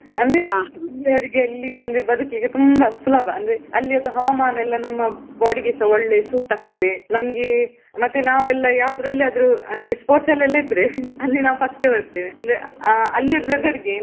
ಅಂದ್ರೆ ಇಲ್ಲಿ ಅವ್ರಿಗೆ ಅಲ್ಲಿ ತಂದ್ರೆ ಬದಿಕ್ಲಿಕ್ಕೆ ತುಂಬಾ ಸುಲಭ ಅಂದ್ರೆ ಅಲ್ಲಿದು ಹವಮಾನ ನಮ್ಮ body ಗೆಸ ಒಳ್ಳೆ suit ಆಗ್ತದೆ. ನಮ್ಗೆ ಮತ್ತೆ ನಾವೆಲ್ಲ ಅಲ್ಲಿ ಆವ್ದ್ರಲ್ಲಿ ಆದ್ರೂ sports ಅಲ್ಲಿ ಎಲ್ಲ ಇದ್ರೆ. ಅಲ್ಲಿ ನಾವು first ಬರ್ತೇವೆ, ಅಂದ್ರೆ ಅಲ್ಲಿದು weather ರಿಗೆ.